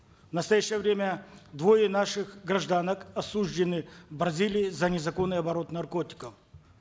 в настоящее время двое наших гражданок осуждены в бразилии за незаконный оборот наркотиков